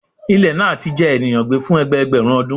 Ilẹ naa ti jẹ eniyan gbe fun ẹgbẹẹgbẹrun ọdun